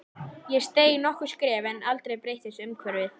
Ég steig nokkur skref en aldrei breyttist umhverfið.